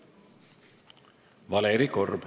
Valeri Korb.